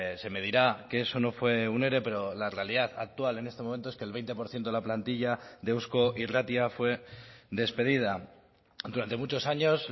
se me dirá que eso no fue un ere pero la realidad actual en este momento es que el veinte por ciento de la plantilla de eusko irratia fue despedida durante muchos años